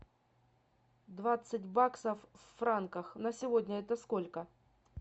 двадцать баксов в франках на сегодня это сколько